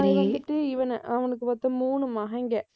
அதுவந்துட்டு இவனை, அவனுக்கு மொத்தம் மூணு மகன்கள்.